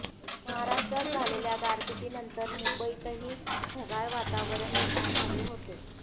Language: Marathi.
महाराष्ट्रात झालेल्या गारपिटीनंतर मुंबईतही ढगाळ वातावरण निर्माण झाले होते